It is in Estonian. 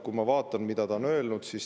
Ma vaatan, mida ta on öelnud.